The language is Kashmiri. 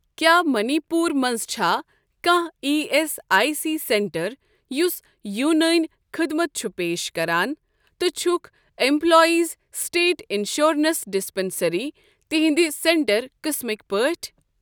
کیٛاہ مٔنی پوٗر منٛز چھا کانٛہہ E S I C centre یُس یوٗنٲنی خدمت چھ پیش کران تہٕ چھکھ ایٚمپلایزسٕٹیٹ اِنشورَنس ڈِسپیٚنٛسرٛی تِہنٛدِ سینٹر قٕسمٕکۍ پٲٹھۍ؟